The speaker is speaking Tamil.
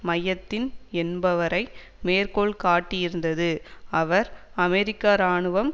மையத்தின் என்பவரை மேற்கோள் காட்டியிருந்தது அவர் அமெரிக்க இராணுவம்